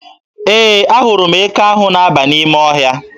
Ee, ahụrụ m eke ahụ na-aba n'ime ọhịa.